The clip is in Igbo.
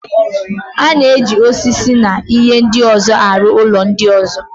A na-eji osisi na ihe ndị ọzọ arụ ụlọ ndị ọzọ.